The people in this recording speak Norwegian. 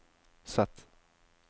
Z